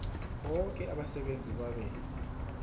boke abasebenzi babe